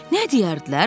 Nə deyərdilər?